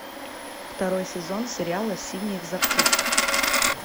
второй сезон сериала синий экзорцист